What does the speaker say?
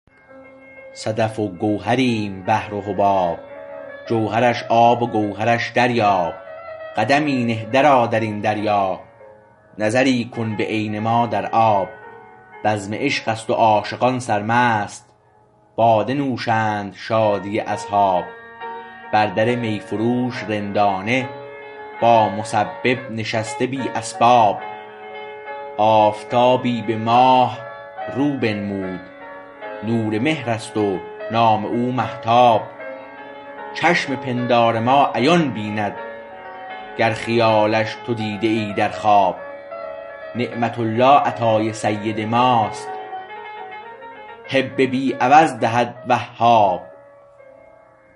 صدف و گوهریم و بحر و حباب جوهرش آب و گوهرش دریاب قدمی نه درآ درین دریا نظری کن به عین ما در آب بزم عشقست و عاشقان سرمست باده نوشند شادی اصحاب بر در می فروش رندانه با مسبب نشسته بی اسباب آفتابی به ماه رو بنمود نور مهر است و نام او مهتاب چشم پندار ما عیان بیند گر خیالش تو دیده ای در خواب نعمت الله عطای سید ماست هب بی عوض دهد وهاب